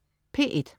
P1: